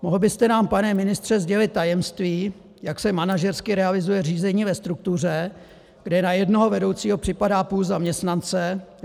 Mohl byste nám, pane ministře, sdělit tajemství, jak se manažersky realizuje řízení ve struktuře, kde na jednoho vedoucího připadá půl zaměstnance?